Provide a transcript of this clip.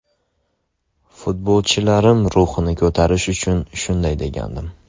Futbolchilarim ruhini ko‘tarish uchun shunday degandim.